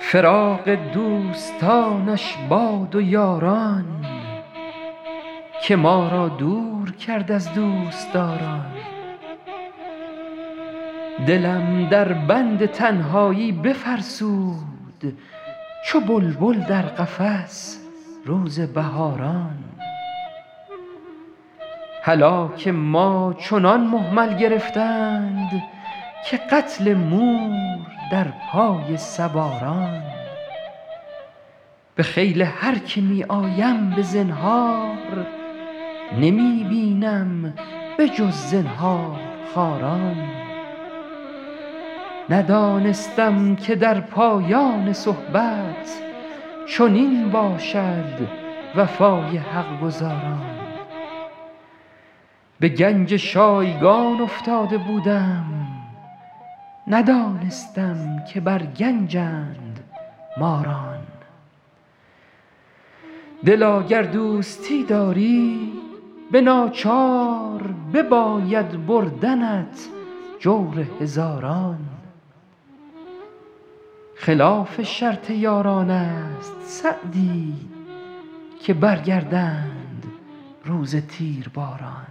فراق دوستانش باد و یاران که ما را دور کرد از دوستداران دلم در بند تنهایی بفرسود چو بلبل در قفس روز بهاران هلاک ما چنان مهمل گرفتند که قتل مور در پای سواران به خیل هر که می آیم به زنهار نمی بینم به جز زنهارخواران ندانستم که در پایان صحبت چنین باشد وفای حق گزاران به گنج شایگان افتاده بودم ندانستم که بر گنجند ماران دلا گر دوستی داری به ناچار بباید بردنت جور هزاران خلاف شرط یاران است سعدی که برگردند روز تیرباران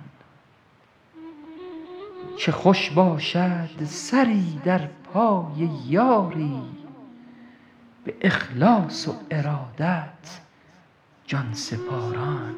چه خوش باشد سری در پای یاری به اخلاص و ارادت جان سپاران